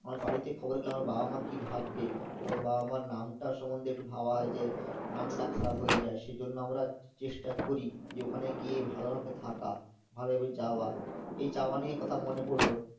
আমার বাড়িতে খবর গেলে আমার বাবা মা কি ভাববে এবং বাবা মার নামটার সম্বন্ধে একটু ভাবা হয়ে যে নাম না খারাপ হয়ে যায় সেজন্য আমরা চেষ্টা করি যে ওখানে গিয়ে ভালো ভাবে থাকা, ভালো ভাবে যাওয়া এই যাওয়া নিয়ে কথা মনে পড়লো